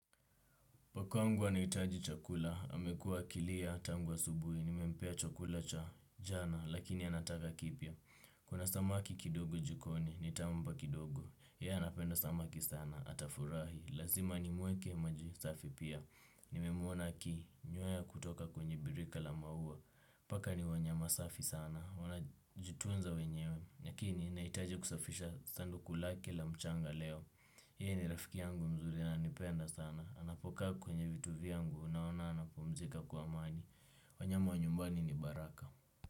Pakangu anahitaji chakula, amekuwa akilia, tangu asubuhi, nimempea chakula cha jana, lakini anataka kipya. Kuna samaki kidogo jikoni, nitampa kidogo, ye anapenda samaki sana, atafurahi, lazima ni muweke maji safi pia. Nimemuona ki, nywea kutoka kwenye birika la maua, paka ni wanyama safi sana, wana jitunza wenyewe, lakini naitaji kusafisha sanduku lake la mchanga leo ye ni rafiki yangu mzuri ananipenda sana. Anapoka kwenye vitu vyangu unaona anapumzika kwa amani wanyama wa nyumbani ni baraka.